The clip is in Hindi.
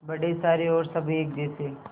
बड़े सारे और सब एक जैसे